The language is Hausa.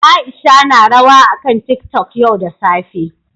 Aisha na rawa akan tiktok yau da safe